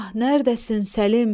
Nərdəsin Səlim?